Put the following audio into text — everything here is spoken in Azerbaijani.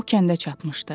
O kəndə çatmışdı.